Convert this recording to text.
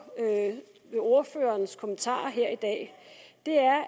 ved ordførerens kommentarer her i dag